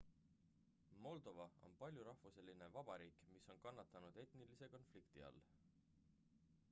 moldova on paljurahvuseline vabariik mis on kannatanud etnilise konflikti all